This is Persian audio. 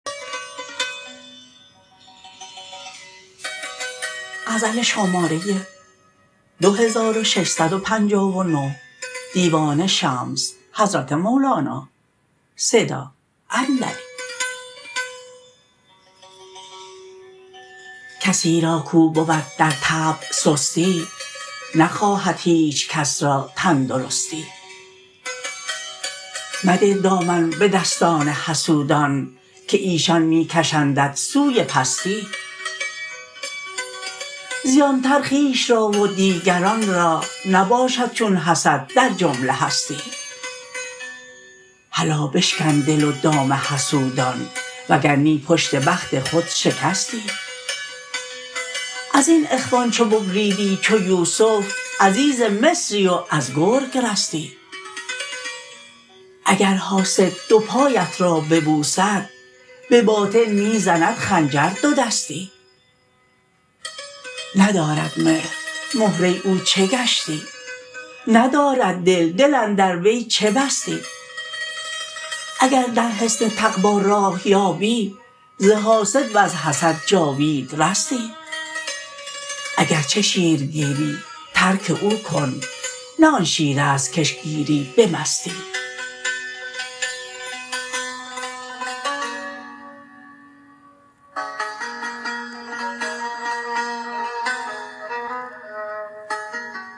کسی کاو را بود در طبع سستی نخواهد هیچ کس را تندرستی مده دامن به دستان حسودان که ایشان می کشندت سوی پستی زیان تر خویش را و دیگران را نباشد چون حسد در جمله هستی هلا بشکن دل و دام حسودان وگر نی پشت بخت خود شکستی از این اخوان چو ببریدی چو یوسف عزیز مصری و از گرگ رستی اگر حاسد دو پایت را ببوسد به باطن می زند خنجر دودستی ندارد مهر مهره او چه گشتی ندارد دل دل اندر وی چه بستی اگر در حصن تقوا راه یابی ز حاسد وز حسد جاوید رستی اگر چه شیرگیری ترک او کن نه آن شیر است کش گیری به مستی